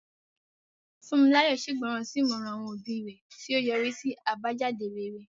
Funmilayo ṣègbọràn sí ìmọ̀ràn àwọn òbí rẹ̀, tí ó yọrí sí àbájáde rere.